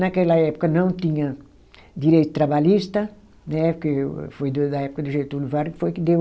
Naquela época não tinha direito trabalhista né, porque foi do da época do Getúlio Vargas que foi que deu